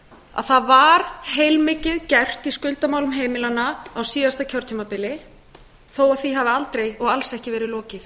að það var heilmikið gert í skuldamálum heimilanna á síðasta kjörtímabili þó að því hafi aldrei og alls ekki verið lokið